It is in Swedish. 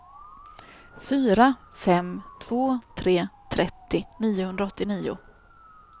fyra fem två tre trettio niohundraåttionio